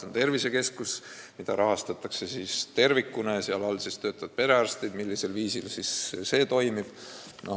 On tervisekeskus, mida rahastatakse tervikuna ja kus töötavad perearstid – millisel viisil see kõik toimib.